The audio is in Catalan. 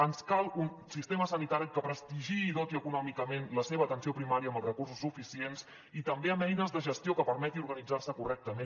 ens cal un sistema sanitari que prestigiï i doti econòmicament la seva atenció primària amb els recursos suficients i també amb eines de gestió que permetin organitzar se correctament